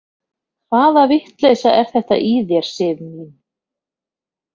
Hvaða vitleysa er þetta í þér, Sif mín!